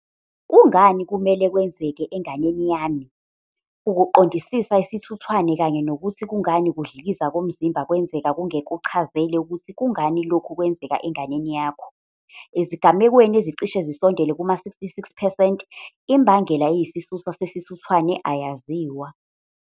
Kungani kumele kwenzeke enganeni yami? Ukuqondisisa isithuthwane kanye nokuthi kungani ukudlikiza komzimba kwenzeka kungekuchazele ukuthi kungani lokhu kwenzeka enganeni yakho. Ezigamekweni ezicishe zisondele kuma-66 percent, imbangela eyisisusa sesithuthwane ayaziwa.